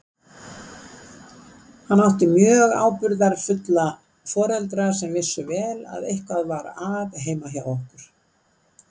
Hann átti mjög ábyrgðarfulla foreldra sem vissu vel að eitthvað var að heima hjá okkur.